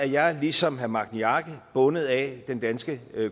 jeg ligesom herre magni arge bundet af den danske